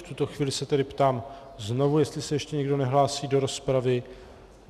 V tuto chvíli se tedy ptám znovu, jestli se ještě někdo nehlásí do rozpravy.